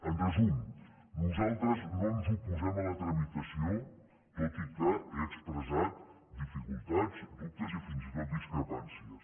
en resum nosaltres no ens oposem a la tramitació tot i que he expressat dificultats dubtes i fins i tot discrepàncies